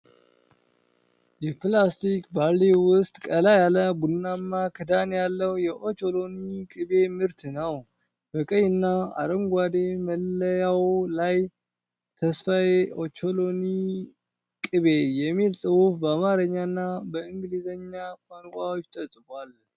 የፕላስቲክ ባልዲ ውስጥ ቀላ ያለ ቡናማ ክዳን ያለው የኦቾሎኒ ቅቤ ምርት ነው። በቀይ እና አረንጓዴ መለያው ላይ "ተስፋዬ ኦቾሎኒ ቅቤ" የሚል ፅሁፍ በአማርኛ እና በእንግሊዝኛ ቋንቋዎች ተጽፏል።